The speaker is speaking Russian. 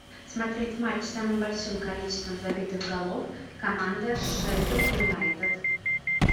смотреть матч с самым большим количеством забитых голов команда шеффилд юнайтед